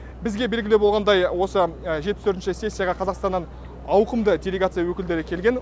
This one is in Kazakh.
бізге белгілі болғандай осы жетпіс төртінші сессияға қазақстаннан ауқымды делегация өкілдері келген